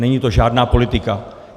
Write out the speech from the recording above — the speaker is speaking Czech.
Není to žádná politika.